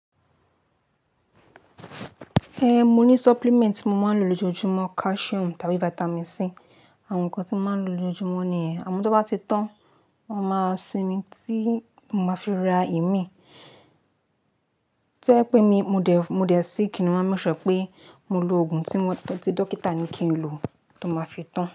Eh, mo ní supplement tí mo máa ń lo lójoojúmọ́, calcium tàbí vitamin C. Àwọn nǹkan tí mo máa ń lo lójoojúmọ́ nìyẹn. Àmọ́ tó bá ti tán, mo máa sinmi tí mo máa fi ra emí. To ye pé mi, mo dẹ̀, mo de síck ni máa n make sure pé mo lo òògùn tí mo, ti dókítà ní kí n lo tó máa fi tán.